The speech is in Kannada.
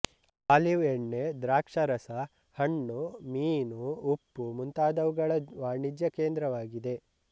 ಆಲಿವ್ ಎಣ್ಣೆ ದ್ರಾಕ್ಷಾರಸ ಹಣ್ಣು ಮೀನು ಉಪ್ಪು ಮುಂತಾದುವುಗಳ ವಾಣಿಜ್ಯ ಕೇಂದ್ರವಾಗಿದೆ